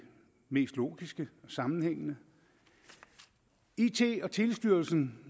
mest logiske og sammenhængende it og telestyrelsen